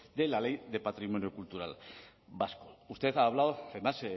de la ley de patrimonio cultural vasco usted ha hablado además